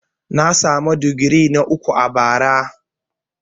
Na samu digiri na uku a bara.